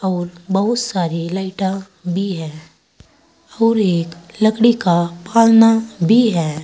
और बहुत सारी लाइटां भी है और एक लकड़ी का पालना भी है।